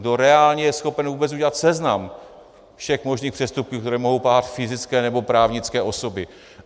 Kdo reálně je schopen vůbec udělat seznam všech možných přestupků, které mohou páchat fyzické nebo právnické osoby?